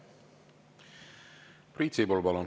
Priit Sibul, palun!